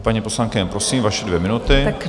Paní poslankyně, prosím, vaše dvě minuty.